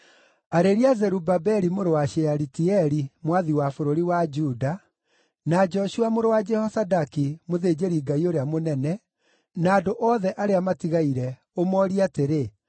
“Arĩria Zerubabeli mũrũ wa Shealitieli, mwathi wa bũrũri wa Juda, na Joshua mũrũ wa Jehozadaki, mũthĩnjĩri-Ngai ũrĩa mũnene, na andũ othe arĩa matigaire, ũmoorie atĩrĩ,